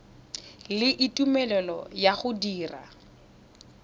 le tumelelo ya go dira